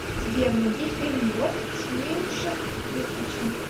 сбер найди фильм лед с миушем миквичем